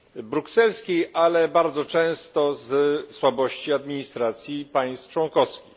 brukselskiej, ale i bardzo często ze słabości administracji państw członkowskich.